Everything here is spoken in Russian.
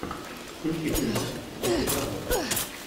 включи фильмас в духе драмы